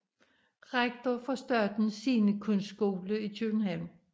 Rektor for Statens Scenekunstskole i København